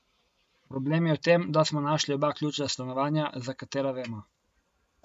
Problem je v tem, da smo našli oba ključa stanovanja, za katera vemo.